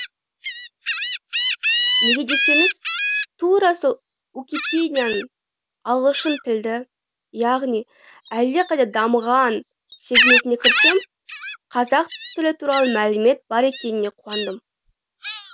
неге десеңіз тура сол уикипедия ның ағылшын тілді яғни әлдеқайда дамыған сегментіне кірсем қазақ тілі туралы мәлімет бар екеніне қуандым